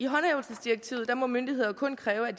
håndhævelsesdirektivet må myndigheder kun kræve at